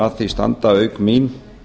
að því standa auk mín